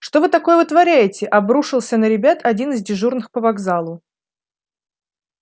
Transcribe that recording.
что вы такое вытворяете обрушился на ребят один из дежурных по вокзалу